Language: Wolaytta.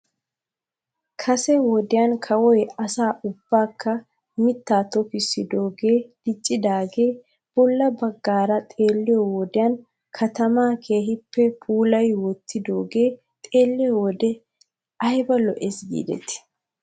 Kase wodiya kawoy asaa ubbaakka mittaa tokissidoogee diccidaagee bolla bagaara xeelliyyo wodiyan katamaa keehippe puulayi wottidaagee xeelliyoo wode ayba lo'es giidetii.